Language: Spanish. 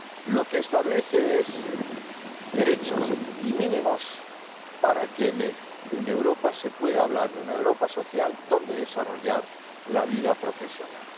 lo que establece son derechos y mínimos para que en Europa se pueda hablar de una Europa social donde desarrollar la vida profesional.